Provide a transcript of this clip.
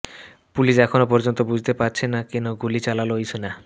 police এখনও পর্যন্ত বুঝতে পারছে না কেন গুলি চালাল ওই সেনা